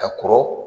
Ka kɔrɔ